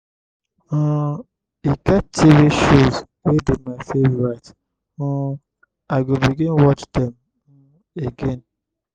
um e get tv shows wey be my favourite um i go begin watch dem um again.